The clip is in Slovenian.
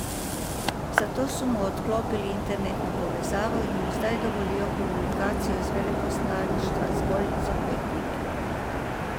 Zato so mu odklopili internetno povezavo in mu zdaj dovolijo komunikacijo iz veleposlaništva zgolj z odvetniki.